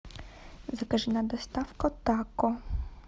закажи нам доставку тако